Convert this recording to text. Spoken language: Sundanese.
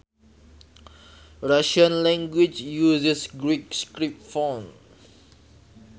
Russian language uses Greek script fonts